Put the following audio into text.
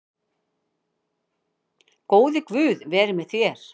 Góði Guð veri með þér.